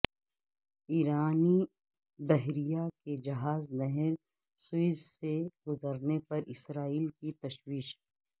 ایرانی بحریہ کے جہاز نہر سوئیز سے گذرنے پر اسرائیل کی تشویش